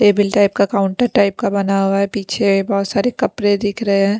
Table type का counter type का बना हुआ है पीछे बहुत सारे कपड़े दिख रहे हैं।